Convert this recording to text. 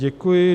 Děkuji.